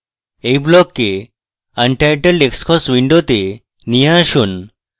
এই ব্লককে untitledxcos window নিয়ে আসুন